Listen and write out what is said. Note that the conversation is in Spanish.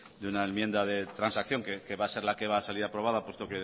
de una enmienda de transacción que va a ser la que va a salir aprobada puesto